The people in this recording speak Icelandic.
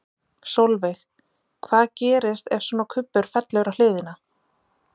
Sólveig: Hvað gerist ef svona kubbur fellur á hliðina?